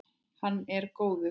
Hann er góður.